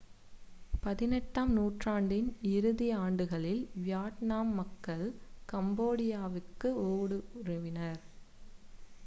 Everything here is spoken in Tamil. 18 ஆம் நூற்றாண்டின் இறுதி ஆண்டுகளில் வியட்நாம் மக்கள் கம்போடியாவிற்குள் ஊடுருவினர்